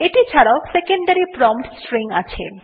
এটি ছাড়াও secondary prompt string ও আছে